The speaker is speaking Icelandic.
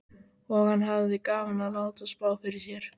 Og hann hafði gaman af að láta spá fyrir sér.